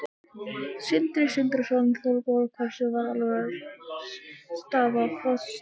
Sindri Sindrason: Þorbjörn, hversu alvarleg er staða Póstsins?